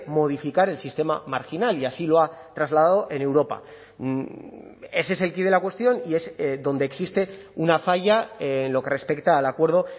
modificar el sistema marginal y así lo ha trasladado en europa ese es el quid de la cuestión y es donde existe una falla en lo que respecta al acuerdo